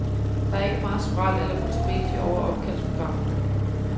Der er ikke meget spræl eller multimedie over opkaldsprogrammet.